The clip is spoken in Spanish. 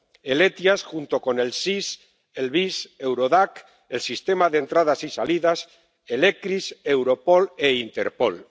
El SEIAV, junto con el SIS, el VIS, Eurodac, el sistema de entradas y salidas, el ECRIS, Europol e Interpol.